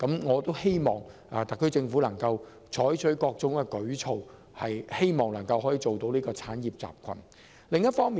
我希望特區政府能採取各種舉措，以建立一個產業集群。